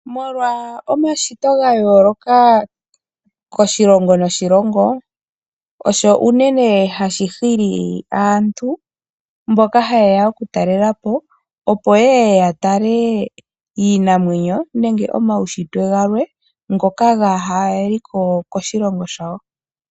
Molwa omashito ga yooloka koshilongo noshilongo, osho unene hashi hili aantu mboka haye ya oku talela po opo yeye ya tale iinamwenyo nenge omaunshitwe galwe ngoka gaaha liko koshilongo shawo.